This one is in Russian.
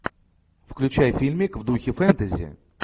включай фильмик в духе фэнтези